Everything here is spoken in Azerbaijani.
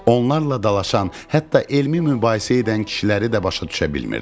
Onlarla dalaşan, hətta elmi mübahisə edən kişiləri də başa düşə bilmirdi.